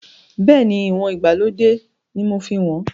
Bẹ́ẹ̀ni, ìwọ̀n ìgbàlódé ni mo fi ń wọn.